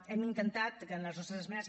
hem intentat que en les nostres esmenes